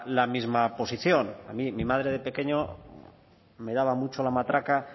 la misma posición a mí mi madre de pequeño me daba mucho la matraca